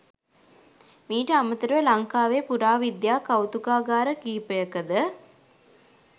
මීට අමතරව ලංකාවේ පුරාවිද්‍යා කෞතුකාගාර කිහිපයකද